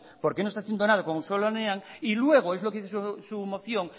porque no está haciendo nada con auzolanean y luego es lo que dice su moción